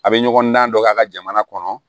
A bɛ ɲɔgɔn dan dɔ k'a ka jamana kɔnɔ